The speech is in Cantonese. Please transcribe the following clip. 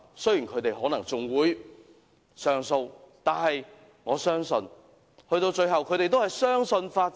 雖然他們可能還會上訴，但我相信最後他們仍然相信法治。